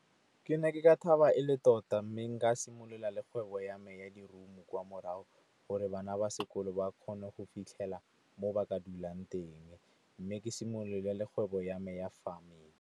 Ke ne ke ka thaba e le tota, mme nka simolola le kgwebo ya me ya lerumo kwa morago gore bana ba sekolo ba kgone go fitlhela mo ba ka dulang teng. Mme ke simolole le kgwebo ya me ya farming